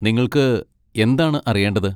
നിങ്ങൾക്ക് എന്താണ് അറിയേണ്ടത്?